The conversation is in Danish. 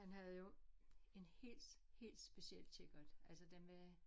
Han havde jo en helt helt speciel kikkert altså den var